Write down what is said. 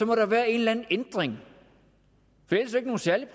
må der være en eller anden ændring